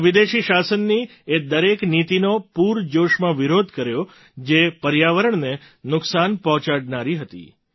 તેમણે વિદેશી શાસનની એ દરેક નીતિનો પૂરજોશમાં વિરોધ કર્યો જે પર્યાવરણને નુકસાન પહોંચાડનારી હતી